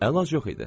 Əlac yox idi.